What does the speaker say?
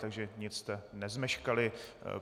Takže nic jste nezmeškali.